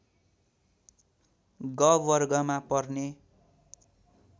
ग वर्गमा पर्ने